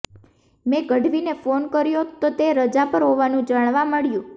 મેં ગઢવીને ફોન કર્યો તો તે રજા પર હોવાનું જાણવા મળ્યુ